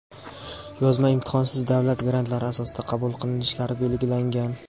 yozma imtihon)siz davlat grantlari asosida qabul qilinishlari belgilangan.